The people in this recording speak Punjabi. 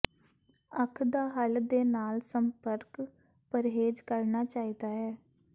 ਅੱਖ ਦਾ ਹੱਲ ਦੇ ਨਾਲ ਸੰਪਰਕ ਪਰਹੇਜ਼ ਕਰਨਾ ਚਾਹੀਦਾ ਹੈ